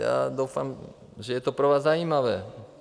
Já doufám, že je to pro vás zajímavé.